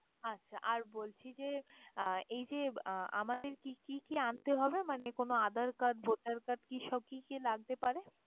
আচ্ছা আর বলছি যে, আহ এই যে আমাদেরকে কি কি আনতে হবে? মানে কোন aadhar card, voter card কি সব কি কি লাগতে পারে?